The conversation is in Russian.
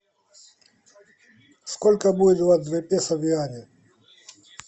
сколько будет двадцать два песо в юани